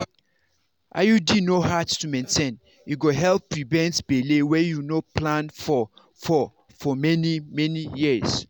iud no hard to maintain e go help prevent belle wey you no plan for for for for many-many years.